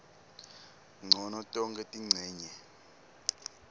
ncono tonkhe tincenye